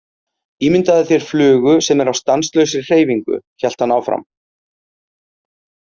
Ímyndaðu þér flugu sem er á stanslausri hreyfingu, hélt hann áfram.